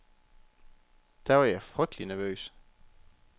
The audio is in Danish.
Da var jeg frygtelig nervøs.